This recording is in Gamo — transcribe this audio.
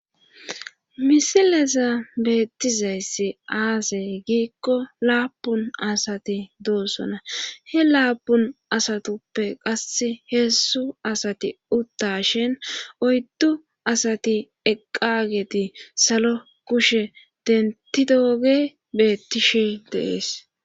misileza beettizayssi aasey giikko laapun asati doosona he laapun asatuppe qasse heessu asati utta shin oyddu asati eqqageti salo kushe dentidooge beettishe deees